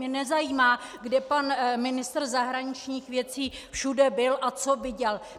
Mě nezajímá, kde pan ministr zahraničních věcí všude byl a co viděl!